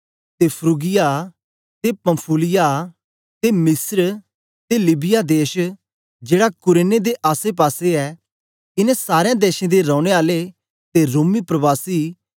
ते फ्रूगिया ते पंफूलिया ते मिस्र ते लीबिया देश जेड़ा कुरेने दे आसे पासे ऐ इनें सारें देशें दे रौने आले ते रोमी प्रवासी